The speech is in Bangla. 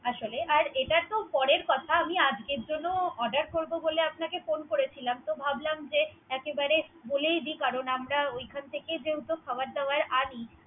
আসলে আর এটা তো পরের কথা। আজকের জন্য Order করব বলে আপনাকে ফোন করেছিলাম। তো ভাবলাম যে একই বারে বলেই দি। কারন আমরা ওইখান থেকে যেহেতু খাবার দাবার আনি আসলে।